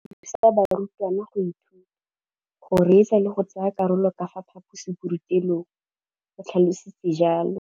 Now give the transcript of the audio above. Dijo tsa kwa sekolong dithusa barutwana go ithuta, go reetsa le go tsaya karolo ka fa phaposiborutelong, o tlhalositse jalo.